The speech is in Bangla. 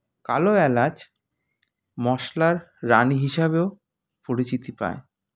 কালো এলাচ মশলার রানী হিসাবেও পরিচিতি পায়